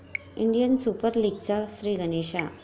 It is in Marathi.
इंडियन सुपर लीगचा 'श्रीगणेशा'